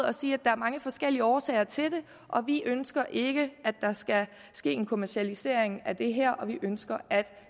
at sige at der er mange forskellige årsager til det og vi ønsker ikke at der skal ske en kommercialisering af det her vi ønsker at